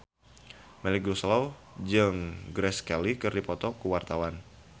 Melly Goeslaw jeung Grace Kelly keur dipoto ku wartawan